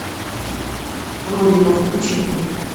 родина включи мне